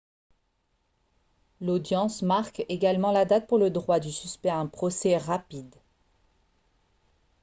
l'audience marque également la date pour le droit du suspect à un procès rapide